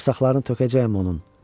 Bağırsaqlarını tökəcəyəm onun!